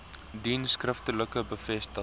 dien skriftelike bevestiging